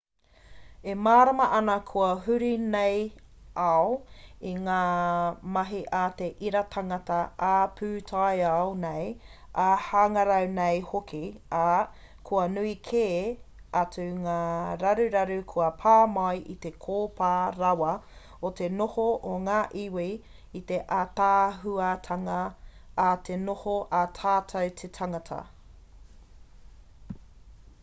e mārama ana kua huri nei ao i ngā mahi a te ira tangata ā-pūtaiao nei ā-hangarau nei hoki ā kua nui kē atu ngā raruraru kua pā mai i te kōpā rawa o te noho a ngā iwi i te ātaahuatanga a te noho a tatou te tangata